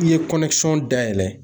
N'i ye dayɛlɛ